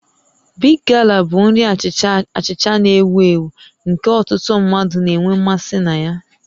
Big Gala bụ nri achịcha achịcha na-ewu ewu nke ọtụtụ mmadụ na-enwe mmasị na ya